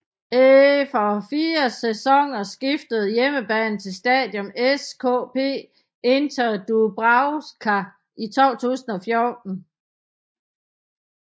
Efer fire sæsoner skiftede hjemmebanen til Štadión ŠKP Inter Dúbravka i 2014